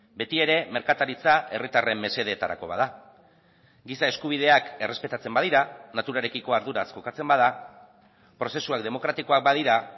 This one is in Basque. beti ere merkataritza herritarren mesedetarako bada giza eskubideak errespetatzen badira naturarekiko arduraz jokatzen bada prozesuak demokratikoak badira